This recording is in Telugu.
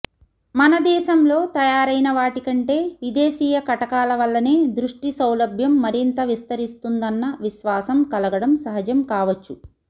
మన దేశంలో తయారైన వాటికంటె విదేశీయ కటకాల వల్లనే దృష్టి సౌలభ్యం మరింత విస్తరిస్తుందన్న విశ్వాసం కలగడం సహజం కావచ్చు